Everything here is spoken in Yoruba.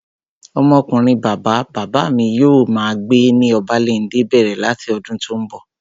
Ọmọ ọkunrin bàbá bàbá mi yóò máa gbé ní Obalende bẹ̀rẹ̀ láti ọdún tó n bọ̀